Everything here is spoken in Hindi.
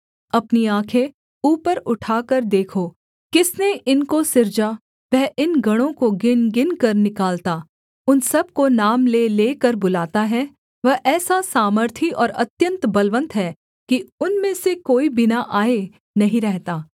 अपनी आँखें ऊपर उठाकर देखो किसने इनको सिरजा वह इन गणों को गिनगिनकर निकालता उन सब को नाम ले लेकर बुलाता है वह ऐसा सामर्थी और अत्यन्त बलवन्त है कि उनमें से कोई बिना आए नहीं रहता